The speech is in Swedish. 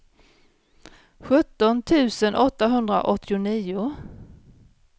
sjutton tusen åttahundraåttionio